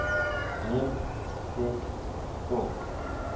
neem ses to